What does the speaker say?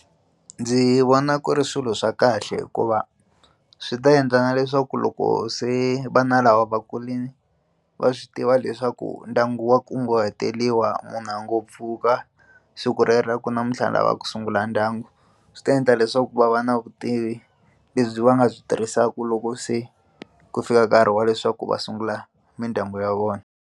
Ndzi vona ku ri swilo swa kahle hikuva swi ta endla na leswaku loko se vana lava vakulini va swi tiva leswaku ndyangu wa kunguhateliwa munhu a ngo pfuka siku rero a ku namuntlha ni lava ku sungula ndyangu swi ta endla leswaku va va na vutivi lebyi va nga byi tirhisaka loko se ku fika nkarhi wa leswaku va sungula mindyangu ya vona.